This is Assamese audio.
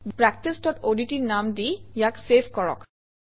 practiceঅডট নাম দি ইয়াক চেভ কৰক